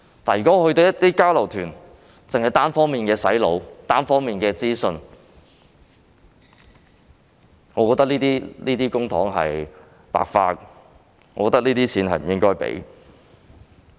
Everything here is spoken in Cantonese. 如果交流團只是單方面的"洗腦"，只提供單方面的資訊，我認為這筆公帑是白花的，不應該批出有關的預算開支。